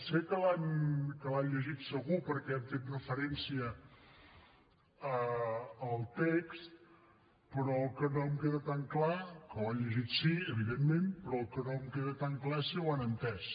sé que l’han llegit segur perquè han fet referència al text però el que no em queda tan clar que ho han llegit sí evidentment però el que no em queda tan clar és si ho han entès